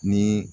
Ni